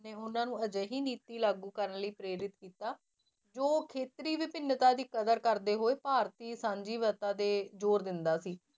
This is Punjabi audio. ਨੇ ਉਹਨਾਂ ਨੂੰ ਅਜਿਹੀ ਨੀਤੀ ਲਾਗੂ ਕਰਨ ਲਈ ਪ੍ਰੇਰਿਤ ਕੀਤਾ ਜੋ ਖੇਤਰੀ ਵਿਭਿੰਨਤਾ ਦੀ ਕਦਰ ਕਰਦੇ ਹੋਏ ਭਾਰਤੀ ਸਾਂਝੀਵਾਲਤਾ ਦੇ ਜ਼ੋਰ ਦਿੰਦਾ ਸੀ।